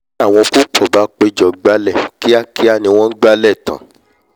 tí àwọn púpọ̀ bá pé jọ gbálẹ̀ kíákiá ni wọ́n n gbálẹ̀ tán